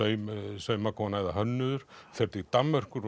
saumakona eða hönnuður fer til Danmerkur